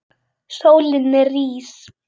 Sólin rís.